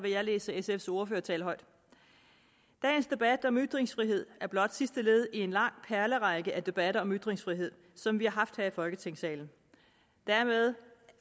læse hendes ordførertale højt dagens debat om ytringsfrihed er blot sidste led i en lang perlerække af debatter om ytringsfrihed som vi har haft her i folketingssalen dermed